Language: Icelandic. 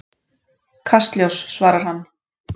Kastljós, svarar hann.